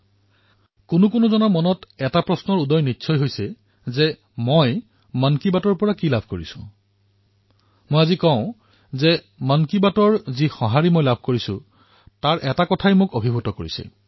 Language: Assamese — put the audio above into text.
কেতিয়াবা কেতিয়াবা জনতাৰ মনত প্ৰশ্ন উত্থাপিত হয় যে মন কী বাতৰ দ্বাৰা মই পালো মই আজি কব বিচাৰিম যে মন কী বাতৰ যি প্ৰতিক্ৰিয়া পোৱা যায় সেয়াই মোৰ মন স্পৰ্শ কৰে